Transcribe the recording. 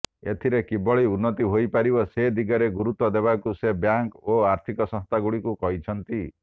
ଏଥିରେ କିଭଳି ଉନ୍ନତି ହୋଇପାରିବ ସେ ଦିଗରେ ଗୁରୁତ୍ୱ ଦେବାକୁ ସେ ବ୍ୟାଙ୍କ ଓ ଆର୍ଥିକ ସଂସ୍ଥାଗୁଡ଼ିକୁ କହିଛନ୍ତି